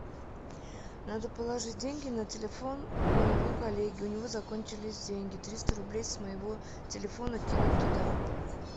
надо положить деньги на телефон моего коллеги у него закончились деньги триста рублей с моего телефона кинуть туда